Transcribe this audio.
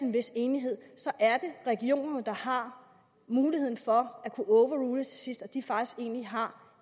en vis enighed er det regionerne der har muligheden for at overrule til sidst og at de faktisk egentlig har